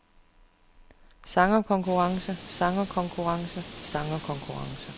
sangerkonkurrence sangerkonkurrence sangerkonkurrence